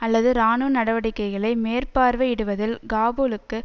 அல்லது இராணுவ நடவடிக்கைகளை மேற்பார்வையிடுவதில் காபூலுக்கு